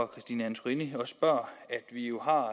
christine antorini spørger